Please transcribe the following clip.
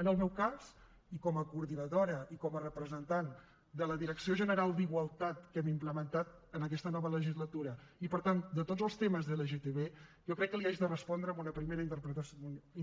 en el meu cas i com a coordinadora i com a representant de la direcció general d’igualtat que hem implementat en aquesta nova legislatura i per tant de tots els temes d’lgtb jo crec que li haig de respondre amb una primera